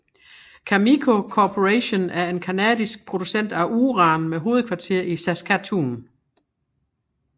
Cameco Corporation er en canadisk producent af uran med hovedkvarter i Saskatoon